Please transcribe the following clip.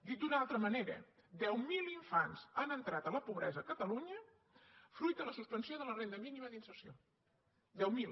dit d’una altra manera deu mil infants han entrat a la pobresa a catalunya fruit de la suspensió de la renda mínima d’inserció deu mil